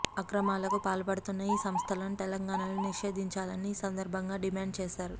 అక్రమాలకు పాల్పడుతున్న ఈ సంస్థలను తెలంగాణలో నిషేధించాలని ఈ సందర్భంగా డిమాండ్ చేశారు